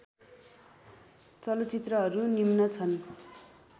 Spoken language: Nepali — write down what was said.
चलचित्रहरू निम्न छन्